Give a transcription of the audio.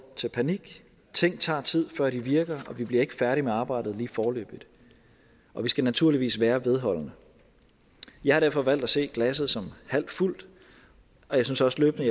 til panik ting tager tid før de virker og vi bliver ikke færdige med arbejdet lige foreløbig og vi skal naturligvis være vedholdende jeg har derfor valgt at se glasset som halvt fuldt og jeg synes også løbende